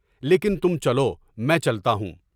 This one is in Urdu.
لیکن تم چلو، میں چلتا ہوں۔